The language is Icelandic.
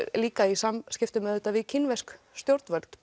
líka í samskiptum við kínversk stjórnvöld